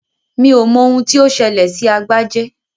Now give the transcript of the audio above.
Mi ò mọ ohun tí ó ṣẹlẹ̀ sí Agbájé